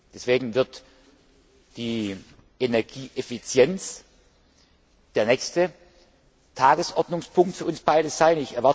Deswegen wird die Energieeffizienz der nächste Tagesordnungspunkt für uns beide sein.